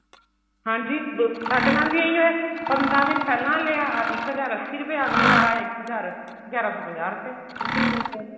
ਹਾਂਜੀ ਸਾਡੇ ਨਾਲ ਏਵੇਂ ਹੀ ਹੋਇਆ ਪੰਦਰਾਂ ਦਿਨ ਪਹਿਲਾਂ ਲਿਆ ਇੱਕ ਹਜ਼ਾਰ ਅੱਸੀ ਰੁਪਏ ਅਗਲੀ ਵਾਰ ਆਏ ਗਿਆਰਾਂ ਸੋ ਪੰਜਾਹ ਰੁਪਏ ਸਿੱਧੇ ਹੀ ਗਏ